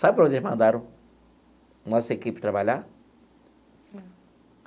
Sabe para onde eles mandaram a nossa equipe trabalhar?